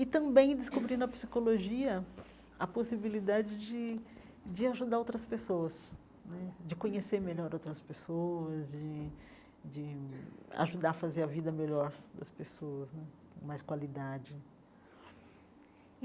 E também descobri, na psicologia, a possibilidade de de ajudar outras pessoas né, de conhecer melhor outras pessoas, de de ajudar a fazer a vida melhor das pessoas né, com mais qualidade.